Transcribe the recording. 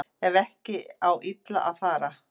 Ef ekki á illa að fara